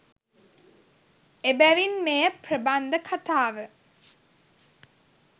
එබැවින් මෙය ප්‍රබන්ධ කතාව